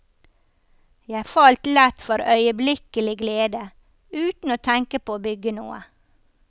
Jeg falt lett for øyeblikkelig glede, uten å tenke på å bygge noe.